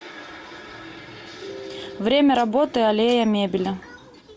время работы аллея мебели